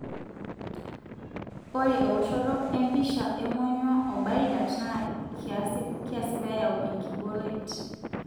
ore eoshoto empisha emonyua o bile duct na kiasi peyau enkiboret.